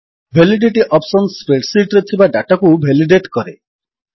validity option spreadsheet ରେ ଥିବା ଡାଟାକୁ ଭେଲିଡେଟ୍ କରେ